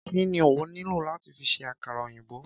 Kí ni a óò nílò láti fi ṣe àkàrà òyìnbó?